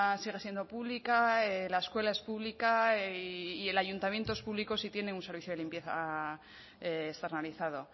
sigue siendo pública la escuela es pública y el ayuntamiento es público si tiene un servicio de limpieza externalizado